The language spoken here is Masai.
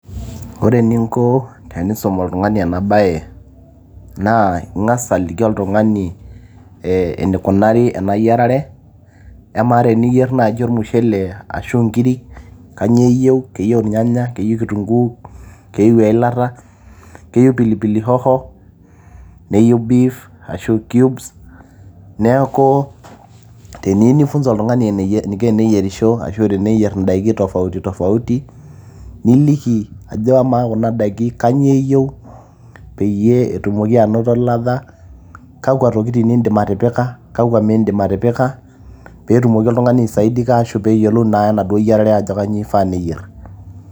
ore eninko tenisum oltung'ani ena baye naa ing'as aliki oltung'ani ee enikunari ena yiarare amaa teniyierr naaji ormushele ashu inkirik kanyio eyieu? keyieu irnyanya, keyieu kitunguu keyieu eilata keyieu pilipili hoho neyieu beef ashu cubes neeku teniyieu nifunza oltung'ani eniko teneyierisho ashu eniko teneyierr indaiki tofauti tofauti niliki ajo amaa kuna daiki kanyioo eyieu peyie etumoki anoto ladha kakwa tokitin indim atipika kakwa mindim atipika peetumoki oltung'ani aisaidika ashu peyiolou naa enaduo yiarare ajo kanyio ifaa neyierr.